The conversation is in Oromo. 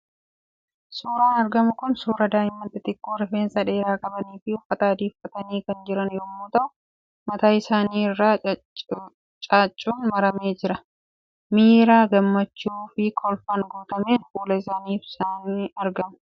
Suuraan argamu kun suuraa daa'imman xixiqqoo rifeensa dheeraa qabanii fi uffata adii uffatanii kan jiran yemmuu ta'u mataa isaanii irra caaccuun maramee jira. Miira gammachuu fi kolfaan guutameen fuula isaanii ibsanii argamu.